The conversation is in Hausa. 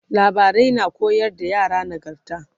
labarai na koyar da yara nagarta